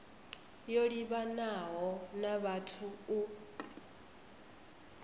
yo livhanaho na vhathu u